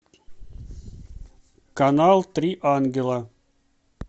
канал три ангела